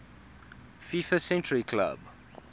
fifa century club